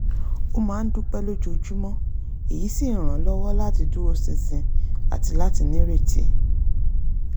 ó máa ń dúpẹ́ lójoojúmọ́ èyí sì ń ràn án lọ́wọ́ láti dúró ṣinṣin àti láti nírètí